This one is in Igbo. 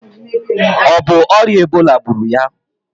O bu oria Ebola gburu ya?